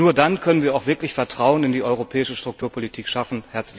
Nur dann können wir auch wirklich Vertrauen in die Europäische Strukturpolitik schaffen.